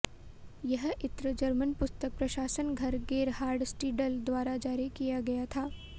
यह इत्र जर्मन पुस्तक प्रकाशन घर गेरहार्ड स्टीडल द्वारा जारी किया गया था